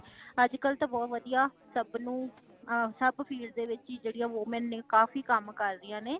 ਅੱਜ ਕੱਲ ਤਾ ਬਹੁਤ ਵਦੀਆਂ , ਸਬ ਨੂੰ ਸਬ field ਦੇ ਵਿੱਚ ਜੇੜੀ woman ਨੇ ਕਾਫੀ ਕਾਮ ਕਰ ਰਹੀਆਂ ਨੇ